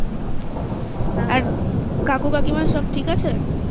আর কাকু কাকিমা সব ঠিক আছে?